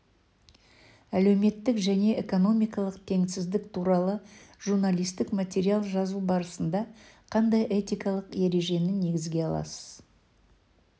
әлеуметтік және экономикалық теңсіздік туралы журналистік материал жазу барысында қандай этикалық ережені негізге аласыз